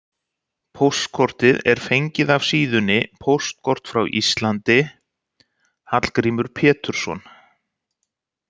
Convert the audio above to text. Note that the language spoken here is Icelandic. Póstkortið er fengið af síðunni Póstkort frá Íslandi: Hallgrímur Pétursson.